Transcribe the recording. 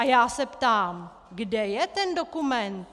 A já se ptám: Kde je ten dokument?